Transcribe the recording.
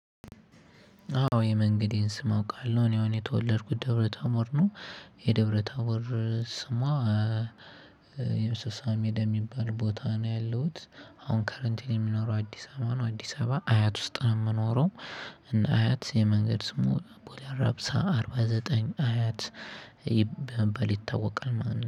አዎ የመንገዴን ስም አውቃለሁ እኔ አሁን የተወለድኩት ደብረ ታቦር ነው። የደብረ ታቦር ስሟ የሚባል ቦታ ነው ያለሁት፤ አሁን ከረንትሊ የምኖረው አዲስ አበባ ነው አዲስ አበባ አያት ውስጥ ነው የምኖረው እና አያት የመንገድ ስሙ ቦሌ አራብሳ አርባ ዘጠኝ አያት በመባል ይታወቃል ማለት ነው።